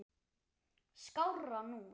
skárra nú.